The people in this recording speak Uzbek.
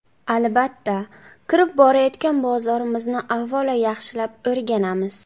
Albatta, kirib borayotgan bozorimizni avvalo, yaxshilab o‘rganamiz.